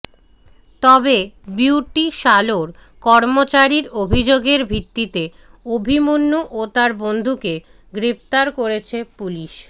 তবে বিউটি সালোঁর কর্মচারীর অভিযোগের ভিত্তিতে অভিমন্যু ও তাঁর বন্ধুকে গ্রেফতার করেছে পুলিশ